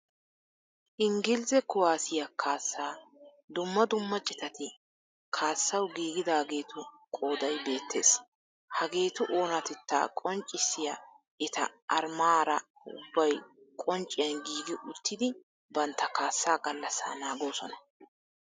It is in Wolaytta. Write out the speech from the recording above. Ingiliizze kuwaasiyaa kaasaa dumma dumma citati kaassawu giigidaageetu qooday beettees. Haageetu oonatetaa qonccissiya eta armaara ubbay qoncciyan giigi uttidi bantta kaassaa gallasaa naagoosona.